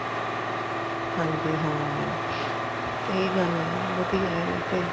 ਹਾਂਜੀ ਹਾਂ ਇਹੀ ਗੱਲ ਹੈ ਵਧੀਆ ਵੈਸੇ